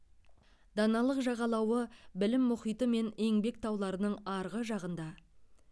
даналық жағалауы білім мұхиты мен еңбек тауларының арғы жағында